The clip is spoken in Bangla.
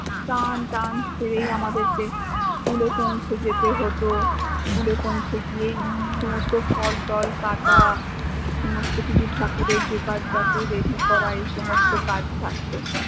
চান থান ছেরেই আমাদেরকে school এ পৌঁছে যেতে হত, school এ পৌঁছেগিয়েই সমস্ত ফল ত্ল কাটা সমস্ত কিছু ঠাকুরের ready করা, এই সমস্ত কাজ থাকত